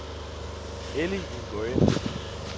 Elly Nguyen